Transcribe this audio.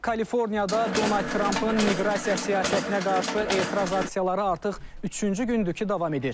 Kaliforniyada Donald Trampın miqrasiya siyasətinə qarşı etiraz aksiyaları artıq üçüncü gündür ki, davam edir.